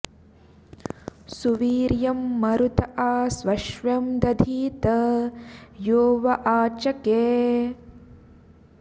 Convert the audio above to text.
सु॒वीर्यं॑ मरुत॒ आ स्वश्व्यं॒ दधी॑त॒ यो व॑ आच॒के